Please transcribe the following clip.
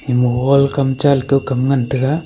ama hall kam cha leto kam ngan tega.